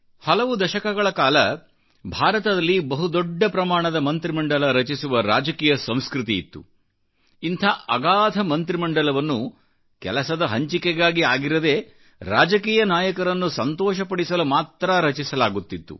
ಹಲವು ದಶಕಗಳಲ್ಲಿ ಭಾರತದಲ್ಲಿ ಬಹು ದೊಡ್ಡ ಪ್ರಮಾಣದ ಮಂತ್ರಿ ಮಂಡಲ ರಚಿಸುವ ರಾಜಕೀಯ ಸಂಸ್ಕೃತಿ ಇತ್ತು ಇಂಥ ಅಗಾಧ ಮಂತ್ರಿ ಮಂಡಲವನ್ನುಕೆಲಸದ ಹಂಚಿಕೆಗಾಗಿ ಆಗಿರದೇ ರಾಜಕೀಯ ನಾಯಕರನ್ನು ಸಂತೋಷಪಡಿಸಲು ಮಾತ್ರ ರಚಿಸಲಾಗುತ್ತಿತ್ತು